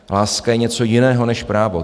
Láska je něco jiného než právo.